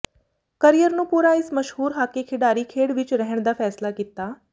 career ਨੂੰ ਪੂਰਾ ਇਸ ਮਸ਼ਹੂਰ ਹਾਕੀ ਖਿਡਾਰੀ ਖੇਡ ਵਿੱਚ ਰਹਿਣ ਦਾ ਫੈਸਲਾ ਕੀਤਾ